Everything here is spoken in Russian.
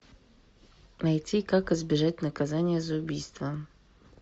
найти как избежать наказания за убийство